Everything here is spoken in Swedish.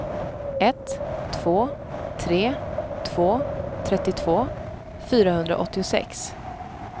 ett två tre två trettiotvå fyrahundraåttiosex